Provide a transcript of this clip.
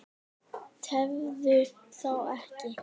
Tefðu þá ekki.